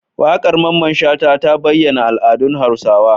Waƙar Mamman shata ta bayyana al'adun hausawa